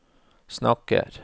snakker